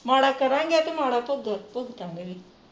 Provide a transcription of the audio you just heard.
ਮਾੜਾ ਕਰਾਂਗੇ ਤਾਂ ਮਾੜਾ ਭੁਗਤਾਂਗੇ ਵੀ